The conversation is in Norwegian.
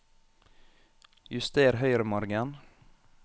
Juster høyremargen